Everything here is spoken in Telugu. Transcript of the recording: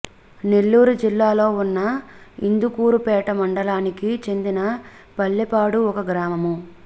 నెల్లూరు జిల్లాలో ఉన్న ఇందుకూరుపేట మండలానికి చెందిన పల్లిపాడు ఒక గ్రామము